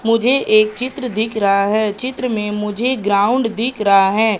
मुझे एक चित्र दिख रहा है चित्र में मुझे ग्राउंड दिख रहा है।